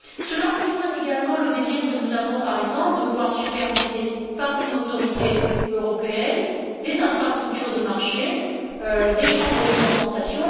Cela rejoint également le désir que nous avons, par exemple, de voir supervisées, par une autorité européenne, des infrastructures de marché, des chambres de compensation.